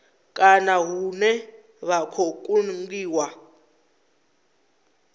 kana hune vha khou kungiwa